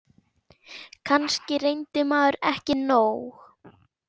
Kannski reyndi maður ekki nóg.